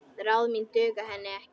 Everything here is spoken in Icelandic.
Ráð mín duga henni ekki.